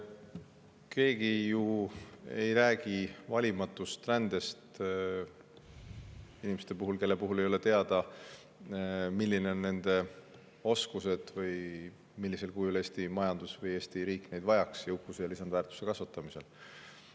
Keegi ju ei räägi valimatust rändest, inimestest, kelle kohta ei ole teada, millised on nende oskused ja millisel kujul Eesti majandus või Eesti riik neid jõukuse ja lisandväärtuse kasvatamiseks vajab.